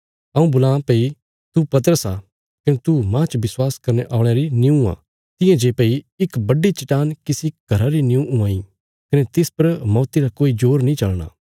हऊँ बोलां भई तू पतरस आ कने तू माह च विश्वास करने औल़यां निऊँ हूणा तियां जे भई इक बड्डी चट्टान किसी घरा री निऊँ हुआं इ कने तिस पर मौती रा कोई जोर नीं चलना